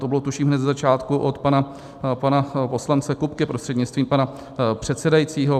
To bylo, tuším, hned ze začátku od pana poslance Kupky prostřednictvím pana předsedajícího.